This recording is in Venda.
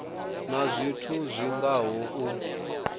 na zwithu zwi ngaho u